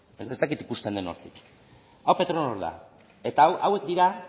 ez dakit ikusten den hortik hau petronor da eta hauek dira